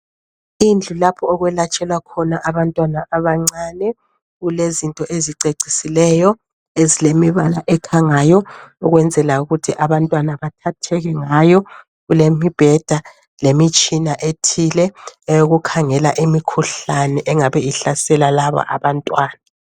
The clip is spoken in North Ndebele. Indlu lapho okwelatshelwa khona abantwana abancane. Kulezinto ezicecisileyo ezilemibala ekhangayo ukwenzela ukuthi abantwana bathatheke ngayo .Kulemibheda lemitshina ethile eyokukhangela imikhuhlane engabe ihlasela laba abantwana.